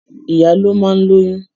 Ìyá ló máa ń lóyún